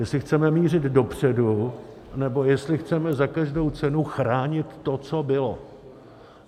Jestli chceme mířit dopředu, nebo jestli chceme za každou cenu chránit to, co bylo.